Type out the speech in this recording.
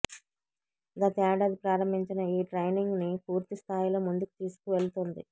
గతేడాది ప్రారంభించిన ఈ ట్రయినింగ్ ని పూర్తి స్థాయిలో ముందుకు తీసుకువెళుతోంది